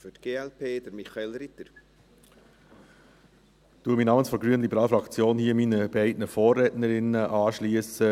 Ich schliesse mich namens der grünliberalen Fraktion hier meinen beiden Vorrednerinnen an.